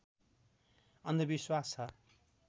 अन्धविश्वास छ